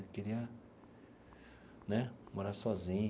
Eu queria né morar sozinho.